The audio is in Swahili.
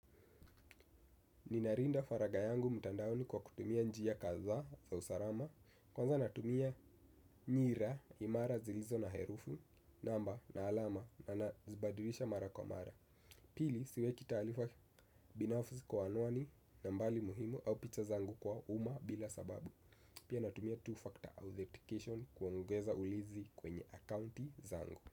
Ninarinda faraga yangu mtandaoni kwa kutumia njia kadhaa za usarama. Kwanza natumia nyira, imara zilizo na herufu, namba na alama na zibadirisha mara kwa mara. Pili, siweki talifa binafuzi kwa anuani na mbali muhimu au picha zangu kwa uma bila sababu pia natumia two-factor authentication kuongeza ulizi kwenye akaunti zangu.